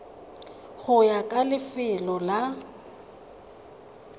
go ya ka lefelo la